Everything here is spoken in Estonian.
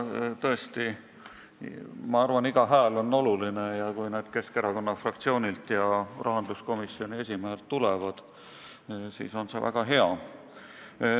Ma tõesti arvan, et iga hääl on oluline, ja kui poolthääled Keskerakonna fraktsioonilt ja rahanduskomisjoni esimehelt tulevad, siis on see väga hea.